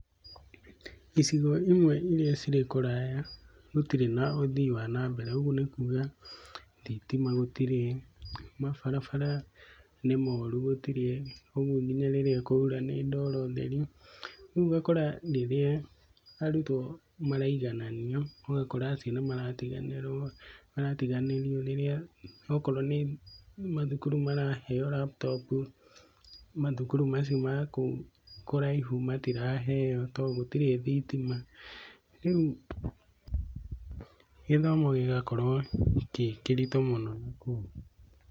Icigo imwe iria cirĩ kũraya, gũtirĩ na ũthii wa nambere, ũguo nĩ kuga, thitima gũtirĩ mabarabara nĩ moru gũtirĩ, kwoguo ona rĩrĩa kwaura nĩ ndoro theri, kwoguo ũgakora rĩrĩa arutwo maraigananio ũgakora nĩ maratiganĩrio. Akorwo nĩ mathukuru maraheyo laptop mathukuru macio makũu kũraihu matiraheyo to gũtirĩ thitima, rĩũ gĩthomo gĩgakorwo kĩ kĩritũ mũno nakũu.